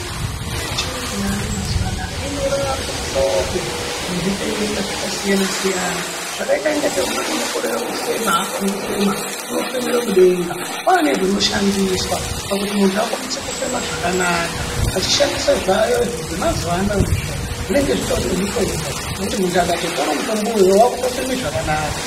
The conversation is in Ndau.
Mitombo yechiyungu yaayo mazuano inorapa muhlobo wezvitenda zvakasiyana -siyana zvakaita ingatei umweni unokorera kufema, haakoni kufema, unofemero mudenga, kwaa nezvinoshandiswaa pakuti muntu akwanise kufema zvakanaka vachishandisa zvaayozvo zvemazuvano izvo zvinenge zvitori nemutombo wekuti muntu akatotora mutombo uyoyo wakutofeme zvakanaka.